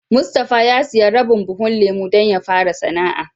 Mustapha ya siya rabin buhun lemu don ya fara sana'a.